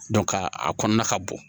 ka a kɔnɔna ka bon